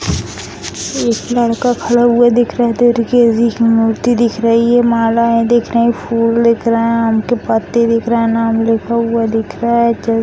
एक लड़का खड़ा हुआ दिख रहा है दुर्गे जी की मूर्ति दिख रही हैं मालाएँ दिख रही हैं फूल दिख रहे हैं और आम के पत्ते दिख रहे हैं नाम लिखा हुआ दिख रहा है ज --